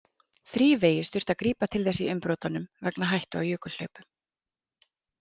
Þrívegis þurfti að grípa til þess í umbrotunum vegna hættu á jökulhlaupum.